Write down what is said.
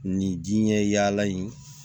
Nin diɲɛ yaala in